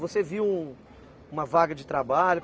Você viu uma vaga de trabalho?